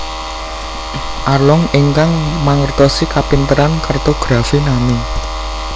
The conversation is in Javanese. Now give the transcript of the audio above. Arlong ingkang mangertosi kapinteran kartografi Nami